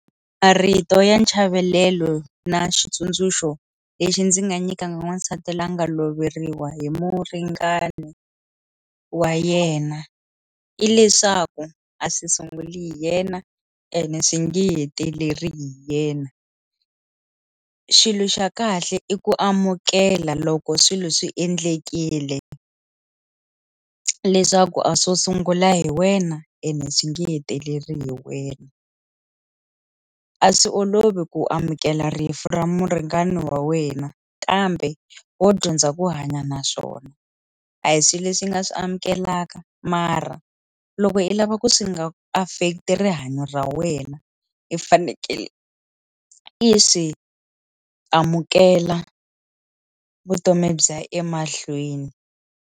Marito ya nchavelelo na xitsundzuxo lexi ndzi nga nyikanga n'wasati la nga loveriwa hi muringani wa yena i leswaku a swi sunguli hi yena ene swi nge heteleli hi yena xilo xa kahle i ku amukela loko swilo swi endlekile leswaku a swo sungula hi wena ene swi nge heteleli hi wena a swi olovi ku amukela rifu ra muringani wa wena kambe wo dyondza ku hanya naswona a hi swilo leswi nga swi amukeleka mara loko i lava ku swi nga affect-i rihanyo ra wena i fanekele i swi amukela vutomi byiya emahlweni.